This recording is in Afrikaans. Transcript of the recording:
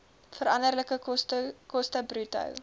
veranderlike koste bruto